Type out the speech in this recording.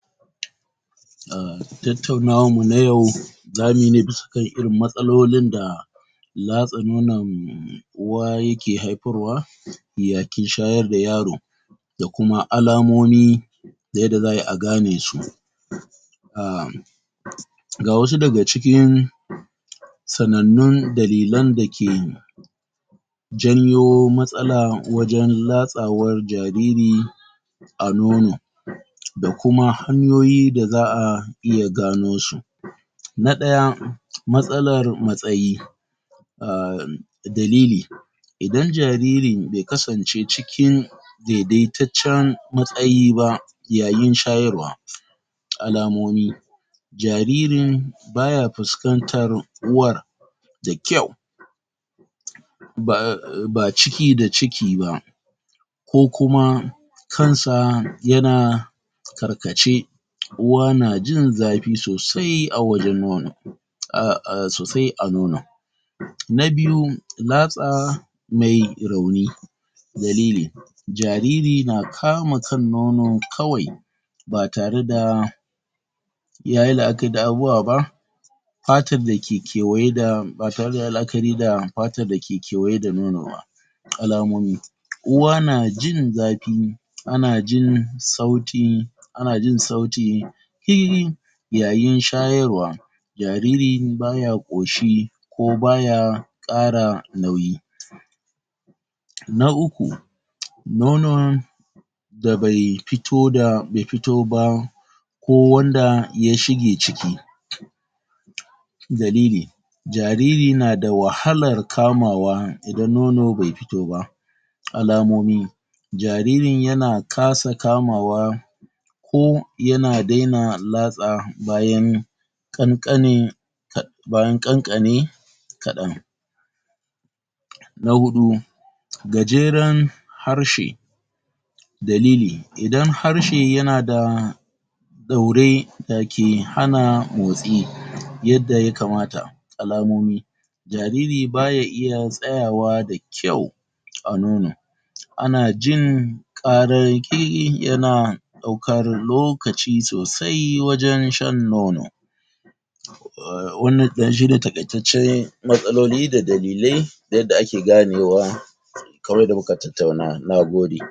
? Ah, tattaunawanmu na yau,? zamuyi ne bisa kan irin matsalolin da,? latsa nonon uwa ya ke haifarwa,? ya ke shayar da yaro,? da kuma alamomi,? da yadda za'ayi a gane su.? Ah,? ga wasu daga cikin,? sanannun dalilan da ke,? janyo matsala wajan latsawar jariri,? a nono,? da kuma hanyoyi da za'a iya gano su.? Na ɗaya. Matsalar matsayi.? Ahh, dalili.? Idan jariri bai kasance cikin,? daidaitaccen matsayi ba,? yayin shayarwa.? Alamomi.? Jaririn,? baya fuskartar uwar,? da ƙyau,? ba ciki da ciki ba,? ko kuma,? kan sa ya na,? karkace,? uwa na jin zafi sosai a wajan nono,? a ah, sosai a nono.? Na biyu. Latsa,? mai rauni.? Dalili.? Jariri na kama kan nono kawai,? ba tare da,? ya yi la'akari da abubuwa ba,? fatar da ke kewaye da, ba tare da ya yi la'akari da fatar da ke kewaye da nono ba.? Alamomi.? Uwa na jin zafi,? a na jin sauti,? a na jin sauti,? yayin shayarwa,? jariri baya ƙoshi,? ko baya,? ƙara nauyi.? Na uku.? Nonon,? da bai fito da, bai fito ba,? ko wanda ya shige ciki.? Dalili.? Jariri na da wahalar kamawa idan nono bai fito ba.? Alamomi.? Jariri ya na kasa kamawa,? ko, ya na daina latsa bayan,? ƙanƙanin,? bayan ƙanƙane,? kaɗan.? Na huɗu.? Gajeran,? harshe.? Dalili. Idan harshe ya na da,? ɗaure, da ke hana mutsi, yadda ya kamata.? Alamomi.? Jariri ba ya iya tsayawa da ƙyau,? a nono. A na jin, ƙarar ƙiki, ya na ɗaukar, lokaci sosai wajan shan nono.? Wannan ɗan shi ne taƙaitaccen, matsaloli da dalilai, da yadda a ke gane wa,? kamar yadda muka tattauna. Na gode.